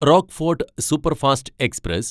Rockfort superfast express